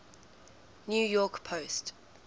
new york post